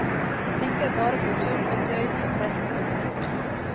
Tenker bare på tull og tøys og fest og moro.